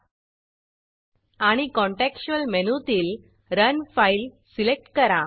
आणि contextual contextual मेनूतील run file run file select करा